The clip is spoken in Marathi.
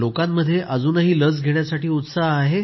लोकांमध्ये अजूनही लस घेण्यासाठी उत्साह आहे